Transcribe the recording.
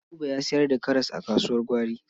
Buba ya sayar da karas a kasuwar gwari.